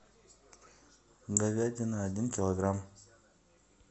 говядина один килограмм